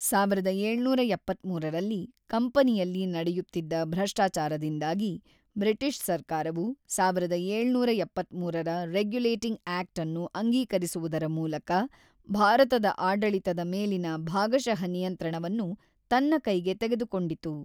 ಸಾವಿರದ ಏಳುನೂರ ಎಪ್ಪತ್ತ್ಮೂರರಲ್ಲಿ ಕಂಪನಿಯಲ್ಲಿ ನಡೆಯುತ್ತಿದ್ದ ಭ್ರಷ್ಟಾಚಾರದಿಂದಾಗಿ ಬ್ರಿಟಿಷ್ ಸರ್ಕಾರವು ಸಾವಿರದ ಏಳುನೂರ ಎಪ್ಪತ್ತ್ಮೂರರ ರೆಗ್ಯುಲೇಟಿಂಗ್ ಆಕ್ಟ್ ಅನ್ನು ಅಂಗೀಕರಿಸುವುದರ ಮೂಲಕ ಭಾರತದ ಆಡಳಿತದ ಮೇಲಿನ ಭಾಗಶಃ ನಿಯಂತ್ರಣವನ್ನು ತನ್ನ ಕೈಗೆ ತೆಗೆದುಕೊಂಡಿತು.